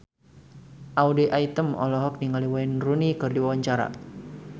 Audy Item olohok ningali Wayne Rooney keur diwawancara